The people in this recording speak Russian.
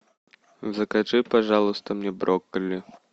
закажи пожалуйста мне брокколи